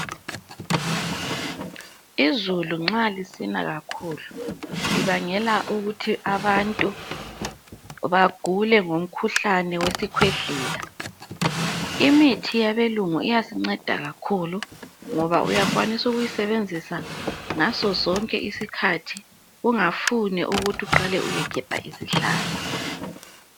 Izulu nxa lisina kakhulu libangela ukuthi abantu bagule ngomkhuhlane wesikhwehlela. Imithi yabelungu iyasinceda kakhulu ngoba uyakwanisa ukuyisebenzisa ngazo zonke isikhathi kungafune ukuthi uqale uyegebha isihlahla.